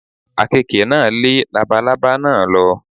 Àkekè náà lé labalábá náà lọ.